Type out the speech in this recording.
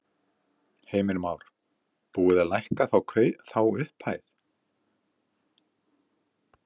Heimir Már: Búið að lækka þá upphæð?